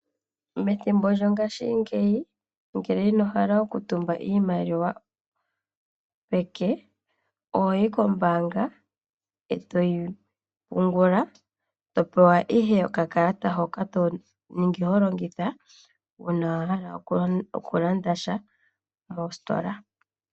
Methimbo lyongaashingeyi ngele ino hala okutumba iimaliwa peke. Ohoyi kombaanga eto yi pungula . Oho pewa ihe okakalata hoka tokala holongitha uuna wa hala okulanda sha mositola.